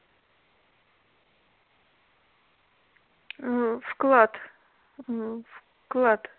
угу вклад угу вклад